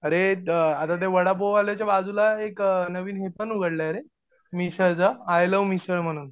अरे द आता त्या वडापाववाल्याच्या बाजूला एक नवीन दुकान उघडलये रे आय लव्ह मिसळ म्हणून